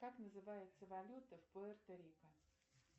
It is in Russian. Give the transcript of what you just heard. как называется валюта в пуэрто рико